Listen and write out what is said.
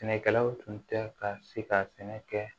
Sɛnɛkɛlaw tun tɛ ka se ka sɛnɛ kɛ